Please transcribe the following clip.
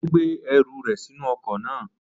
Ó gbé ẹrù rẹ̀ sínú ọkọ̀ náà.